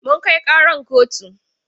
Mun kai ƙaran kotu.